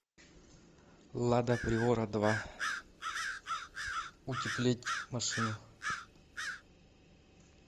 лада приора два утеплить машину